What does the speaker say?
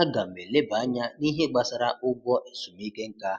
A ga m eleba anya nihe gbasara ụgwọ ezumike nká.